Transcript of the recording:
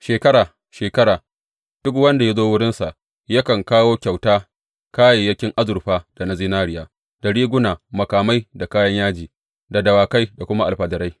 Shekara, shekara, duk wanda ya zo wurinsa yakan kawo kyauta, kayayyakin azurfa da na zinariya, da riguna, makamai da kayan yaji, da dawakai da kuma alfadarai.